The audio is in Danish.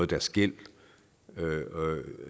deres gæld